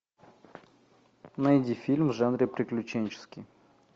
найди фильм в жанре приключенческий